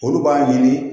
Olu b'a ɲini